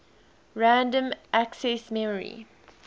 random access memory